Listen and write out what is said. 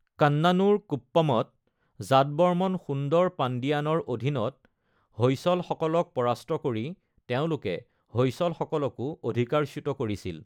কান্নানুৰ কুপ্পমত জাতবৰ্মন সুন্দৰ পাণ্ডিয়ানৰ অধীনত হৈসলসকলক পৰাস্ত কৰি তেওঁলোকে হৈসলসকলকো অধিকাৰচ্যুত কৰিছিল।